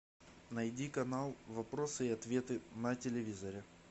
найди канал вопросы и ответы на телевизоре